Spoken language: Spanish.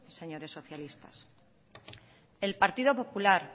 señores socialistas el partido popular